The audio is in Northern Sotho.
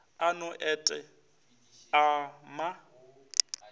a no et a ma